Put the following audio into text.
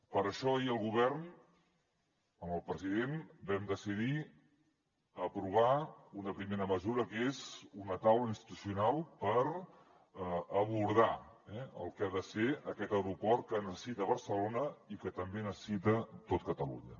per això ahir el govern amb el president vam decidir aprovar una primera mesura que és una taula institucional per abordar el que ha de ser aquest aeroport que necessita barcelona i que també necessita tot catalunya